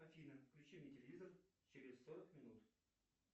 афина включи мне телевизор через сорок минут